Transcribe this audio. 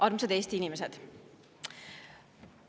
Armsad Eesti inimesed!